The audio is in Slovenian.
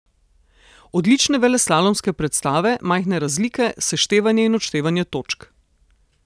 Odlične veleslalomske predstave, majhne razlike, seštevanje in odštevanje točk.